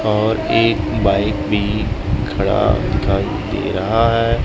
और एक बाइक भी खड़ा दिखाई दे रहा है।